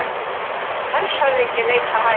Hershöfðingi leitar hælis